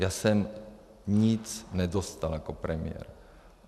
Já jsem nic nedostal jako premiér.